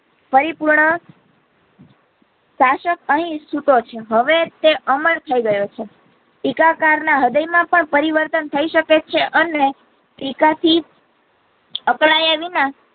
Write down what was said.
પરી પૂર્ણ શાસક અહીં સૂતો છે હવે તે અમર થઈ ગયો છે ટીકા કર ના હૃદય માં પણ પરિવર્તન થઇ શકે છે અને ટીકા થી અકળાયા વિના.